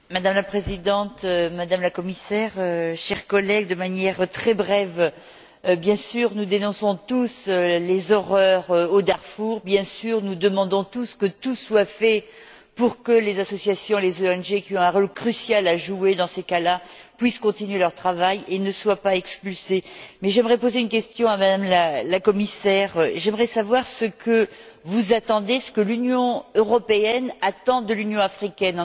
Madame la Présidente, Madame la Commissaire, chers collègues, je voudrais dire, de manière très brève, que nous dénonçons tous les horreurs au Darfour et que nous demandons tous que tout soit fait pour que les associations et les ONG qui ont un rôle crucial à jouer dans ces cas là puissent continuer leur travail et ne soient pas expulsées, mais j'aimerais poser une question à M la Commissaire. J'aimerais savoir ce que vous attendez, ce que l'Union européenne attend de l'Union africaine.